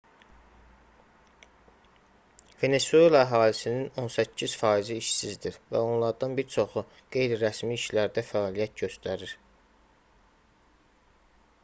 venesuela əhalisinin on səkkiz faizi işsizdir və onlardan bir çoxu qeyri-rəsmi işlərdə fəaliyyət göstərir